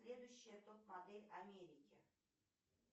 следующая топ модель америки